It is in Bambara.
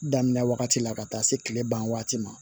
Daminɛ wagati la ka taa se kile ban wagati ma